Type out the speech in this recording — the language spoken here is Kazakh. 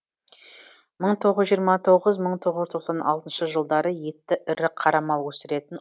мың тоғыз жүз жиырма тоғыз мың тоғыз жүз тоқсан алтыншы жылдары етті ірі қара мал өсіретін